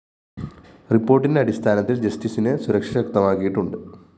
റിപ്പോര്‍ട്ടിന്റെ അടിസ്ഥാനത്തില്‍ ജസ്റ്റിസിന് സുരക്ഷ ശക്തമാക്കിയിട്ടുണ്ട്